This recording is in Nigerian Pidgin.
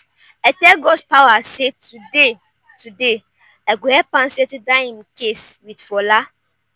i tell godspower say today today i go help am settle dat im case with fola